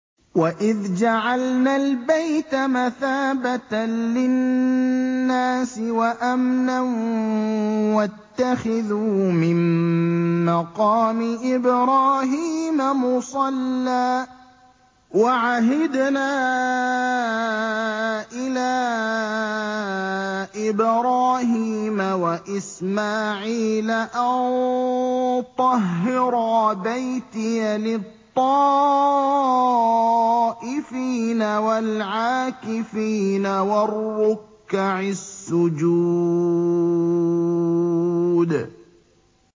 وَإِذْ جَعَلْنَا الْبَيْتَ مَثَابَةً لِّلنَّاسِ وَأَمْنًا وَاتَّخِذُوا مِن مَّقَامِ إِبْرَاهِيمَ مُصَلًّى ۖ وَعَهِدْنَا إِلَىٰ إِبْرَاهِيمَ وَإِسْمَاعِيلَ أَن طَهِّرَا بَيْتِيَ لِلطَّائِفِينَ وَالْعَاكِفِينَ وَالرُّكَّعِ السُّجُودِ